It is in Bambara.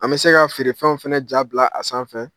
An bɛ se ka feerefɛnw fɛnɛ ja bila a sanfɛ